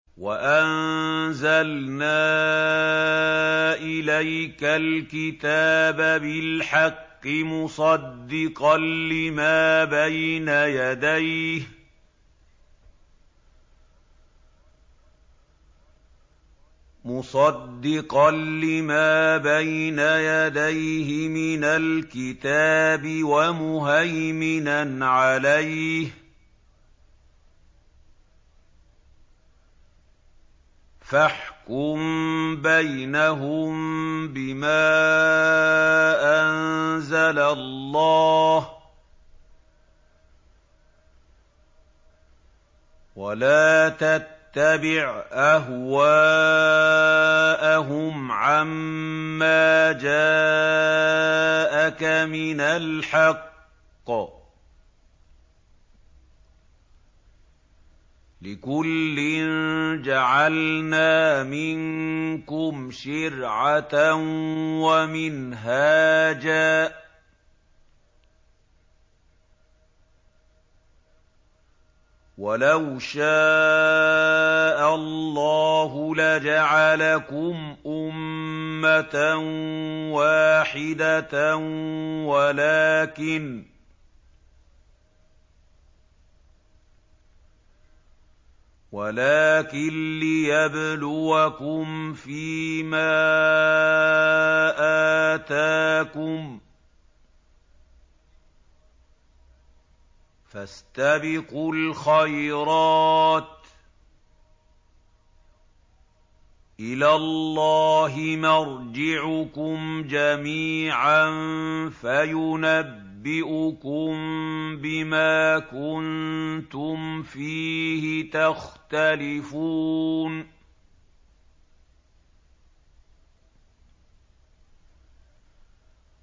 وَأَنزَلْنَا إِلَيْكَ الْكِتَابَ بِالْحَقِّ مُصَدِّقًا لِّمَا بَيْنَ يَدَيْهِ مِنَ الْكِتَابِ وَمُهَيْمِنًا عَلَيْهِ ۖ فَاحْكُم بَيْنَهُم بِمَا أَنزَلَ اللَّهُ ۖ وَلَا تَتَّبِعْ أَهْوَاءَهُمْ عَمَّا جَاءَكَ مِنَ الْحَقِّ ۚ لِكُلٍّ جَعَلْنَا مِنكُمْ شِرْعَةً وَمِنْهَاجًا ۚ وَلَوْ شَاءَ اللَّهُ لَجَعَلَكُمْ أُمَّةً وَاحِدَةً وَلَٰكِن لِّيَبْلُوَكُمْ فِي مَا آتَاكُمْ ۖ فَاسْتَبِقُوا الْخَيْرَاتِ ۚ إِلَى اللَّهِ مَرْجِعُكُمْ جَمِيعًا فَيُنَبِّئُكُم بِمَا كُنتُمْ فِيهِ تَخْتَلِفُونَ